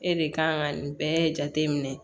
E de kan ka nin bɛɛ jate minɛ